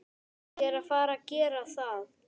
Ég er að gera það.